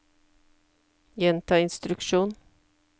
gjenta instruksjon